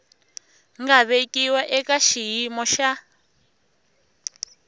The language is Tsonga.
nga vekiwa eka xiyimo xa